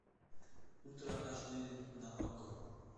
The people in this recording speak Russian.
ультра аш ди на окко